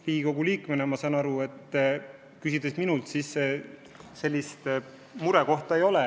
Riigikogu liikmena, ma saan aru, teil minult seda küsides sellist muret ei ole.